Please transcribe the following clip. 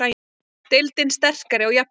Deildin sterkari og jafnari